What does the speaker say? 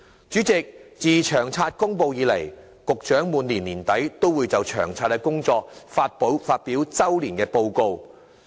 主席，自《長遠房屋策略》公布以來，局長每年年底均會就《長遠房屋策略》的工作發表周年報告。